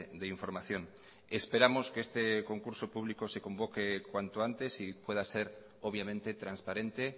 de información esperamos que este concurso público se convoque cuanto antes y pueda ser obviamente transparente